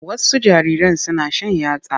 Wasu jariran suna shan yatsa.